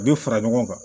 A bɛ fara ɲɔgɔn kan